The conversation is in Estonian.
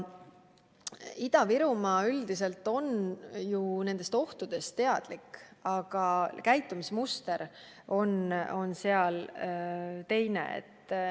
Ida-Virumaa üldiselt on ju nendest ohtudest teadlik, aga käitumismuster on seal teine.